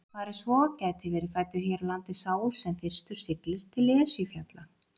Fari svo gæti verið fæddur hér á landi sá sem fyrstur siglir til Esjufjalla.